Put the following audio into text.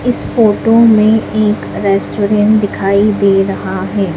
इस फोटो में एक रेस्टोरेंट दिखाई दे रहा है।